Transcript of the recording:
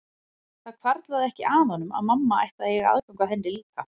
Það hvarflaði ekki að honum að mamma ætti að eiga aðgang að henni líka.